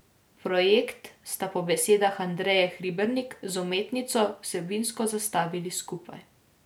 Projekt sta po besedah Andreje Hribernik z umetnico vsebinsko zastavili skupaj.